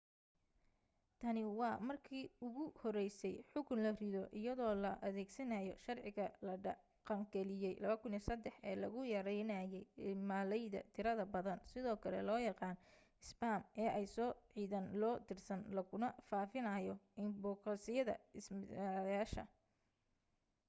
tani waa markii ugu horeysay xukun la rido iyadoo la adeegsanayo sharciga la dhaqangeliyay 2003 ee lagu yareynayay iimaylada tirada badan sidoo kale loo yaqaan isbaam ee ay soo cidaan loo dirsan laguna faafinayo inbogosyada isticmaalayaasha